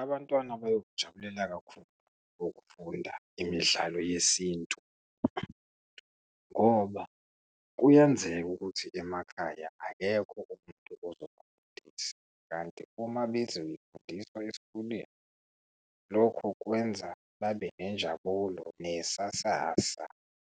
Abantwana bayokujabulela kakhulu ukufunda imidlalo yesintu ngoba kuyenzeka ukuthi emakhaya akekho umuntu ozobafundisa, kanti uma bezoyifundiswa esikoleni, lokhu kwenza babe nenjabulo, nesasasa